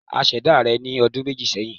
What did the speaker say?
A ṣẹ̀dá rẹ̀ ní ọdun méjì sẹ́hìn.